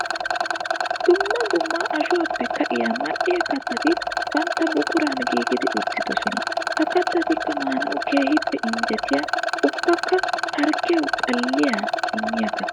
Dumma dumma ashuwappe ka'iya mali'iya kattati bantta buquran giigidi uttidosona. Ha kattatikka maanawu keehippe injjetiya ubbakka harggiya xalliya miyo katta.